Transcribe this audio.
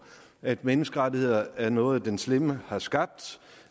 at menneskerettigheder er noget den slemme har skabt